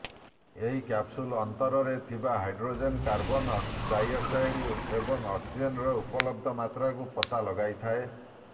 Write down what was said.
ଏହି କ୍ୟାପସୁଲ ଅନ୍ତରେ ଥିବା ହାଇଡ୍ରୋଜେନ କାର୍ବନ ଡାଇଅକ୍ସାଇଡ ଏବଂ ଅକ୍ସିଜେନର ଉପଲବ୍ଧ ମାତ୍ରାକୁ ପତା ଲଗାଇଥାଏ